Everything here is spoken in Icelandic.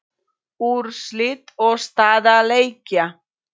Úrslit og staða leikja